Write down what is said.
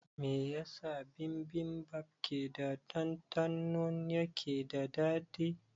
Me yasa bibimbap keda ɗandɗano yake da dadi?